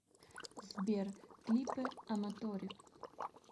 сбер клипы аматори